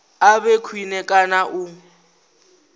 a vhe khwine kana u